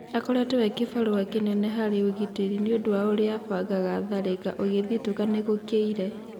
Akoretwo e-kĩbarua kĩnene harĩ agitĩri nĩũndũ wa ũrĩa abangaga tharĩka - ũgĩthitũka nĩ gũkĩire."